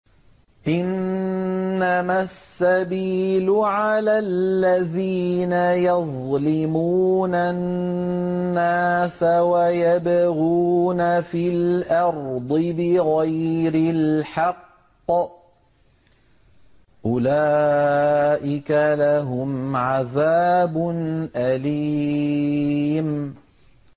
إِنَّمَا السَّبِيلُ عَلَى الَّذِينَ يَظْلِمُونَ النَّاسَ وَيَبْغُونَ فِي الْأَرْضِ بِغَيْرِ الْحَقِّ ۚ أُولَٰئِكَ لَهُمْ عَذَابٌ أَلِيمٌ